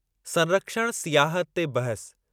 संरक्षण सियाहत ते बहसु